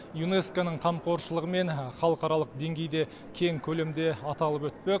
юнеско ның қамқоршылығымен халықаралық деңгейде кең көлемде аталып өтпек